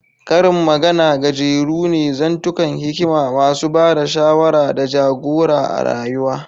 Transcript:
Karin magana gajeru ne, zantukan hikima masu ba da shawara da ja-gora a rayuwa.